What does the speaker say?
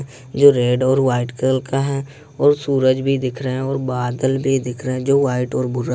जो रेड और white colour का है और सूरज भी दिख रहे है और बादल भी दिख रहे है जो वाइट और भुरा--